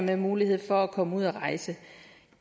have mulighed for at komme ud at rejse